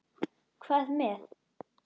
Hvað með.